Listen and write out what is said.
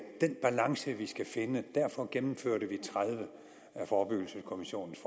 den balance vi skal finde og derfor gennemførte vi tredive af forebyggelseskommissionens